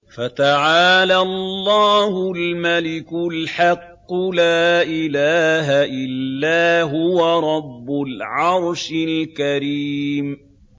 فَتَعَالَى اللَّهُ الْمَلِكُ الْحَقُّ ۖ لَا إِلَٰهَ إِلَّا هُوَ رَبُّ الْعَرْشِ الْكَرِيمِ